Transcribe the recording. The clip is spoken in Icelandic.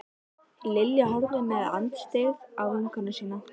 Lilja horfði með andstyggð á vinkonu sína.